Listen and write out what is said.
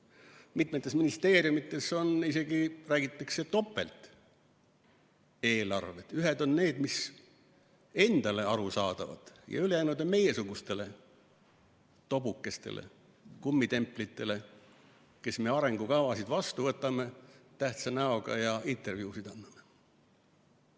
Räägitakse, et mitmes ministeeriumis on isegi topelteelarved: ühed on need, mis on endale arusaadavad, ja teised on meiesugustele tobukestele, kummitemplitele, kes me arengukavasid tähtsa näoga vastu võtame ja intervjuusid anname.